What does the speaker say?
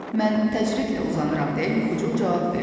Mən təcridlə uzanıram deyə Yuxucul cavab verdi.